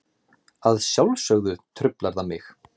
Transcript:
Að sjálfsögðu truflar það mig.